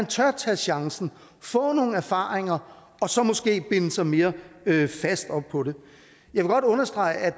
tør tage chancen og få nogle erfaringer og så måske binder sig mere fast op på det jeg vil godt understrege at